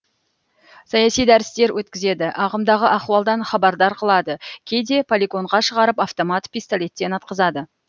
саяси дәрістер өткізеді ағымдағы ахуалдан хабардар қылады кейде полигонға шығарып автомат пистолеттен атқызады